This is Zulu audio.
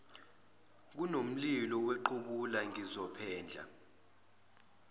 kunomlilo wequbula ngizophendla